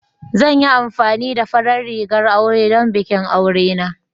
Zan yi amfani da farar rigar aure don bikin aure na.